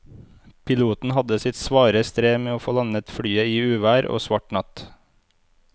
Piloten hadde sitt svare strev med å få landet flyet i uvær og svart natt.